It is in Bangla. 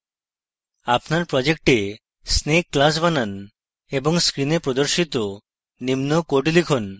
আপনার project snake class বানান এবং screen প্রদর্শিত নিম্ন code লিখুন